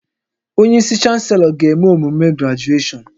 Onye isi Chanselọ ga-eme emume grajueshọn